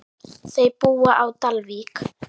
Þau búa á Dalvík.